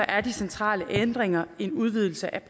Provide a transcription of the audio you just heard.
er de centrale ændringer en udvidelse af